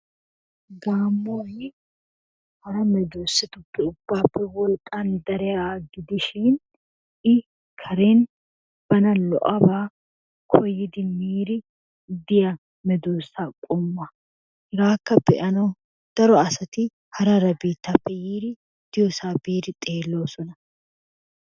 Gaammoy hara meddosatuppe ubbaappe wolqqan dariyaga gidishin I karen bana lo'abaa koyidi miiri diya meddoosa qommuwa, hegaakka be'anawu daro asati hara hara biittaappe yiidi diyossaa biidi xeelloosona.